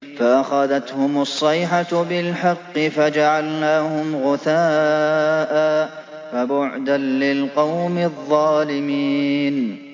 فَأَخَذَتْهُمُ الصَّيْحَةُ بِالْحَقِّ فَجَعَلْنَاهُمْ غُثَاءً ۚ فَبُعْدًا لِّلْقَوْمِ الظَّالِمِينَ